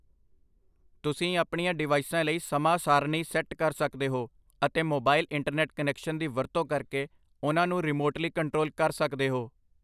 ਤੁਸੀਂ ਆਪਣੀਆਂ ਡਿਵਾਈਸਾਂ ਲਈ ਸਮਾਂ ਸਾਰਣੀ ਸੈਟ ਕਰ ਸਕਦੇ ਹੋ ਅਤੇ ਮੋਬਾਈਲ ਇੰਟਰਨੈਟ ਕਨੈਕਸ਼ਨ ਦੀ ਵਰਤੋਂ ਕਰਕੇ ਉਹਨਾਂ ਨੂੰ ਰਿਮੋਟਲੀ ਕੰਟਰੋਲ ਕਰ ਸਕਦੇ ਹੋ